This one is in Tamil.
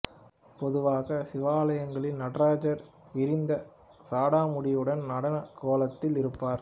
பொதுவாக சிவாலயங்களில் நடராஜர் விரிந்த சடாமுடியுடன் நடன கோலத்தில் இருப்பார்